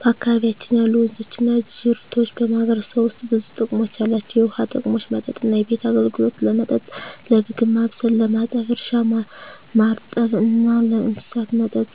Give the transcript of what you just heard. በአካባቢያችን ያሉ ወንዞችና ጅረቶች በማህበረሰቡ ውስጥ ብዙ ጥቅሞች አላቸው፣ የውሃ ጥቅሞች መጠጥና ቤት አገልግሎት – ለመጠጥ፣ ለምግብ ማብሰል፣ ለማጠብ እርሻ – ማርጠብ እና ለእንስሳት መጠጥ